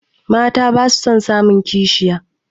Mata basu son samun kishiya